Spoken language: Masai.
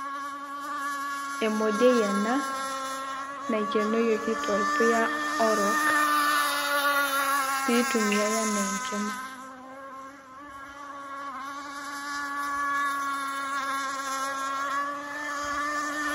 Emodioi ena naikenoyieki torpuya orok pee itumiai enaa enkima.